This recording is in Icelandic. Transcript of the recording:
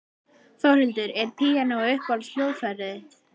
Þórhildur: Er píanóið uppáhalds hljóðfærið þitt?